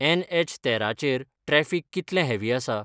N H तेरा चेर traffic कितलें हॅवी आसा?